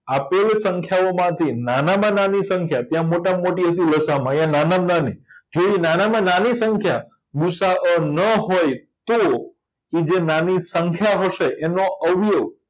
આપેલી સંખ્યાઓ માંથી નાનામાં નાની સંખ્યા ત્યાં મોટામાં મોટી આયા નાનામાં નાની જેની નાનામાં નાની સંખ્યા ગુસાઅનો હોય તો તો જે નાની સંખ્યા હશે એમનો અવયવ